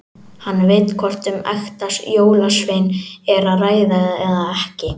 Hann veit hvort um ekta jólasvein er að ræða eða ekki.